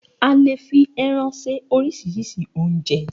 A le fi ẹran se oríṣiríṣi oúnjẹ.